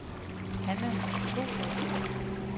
Hanna Thorup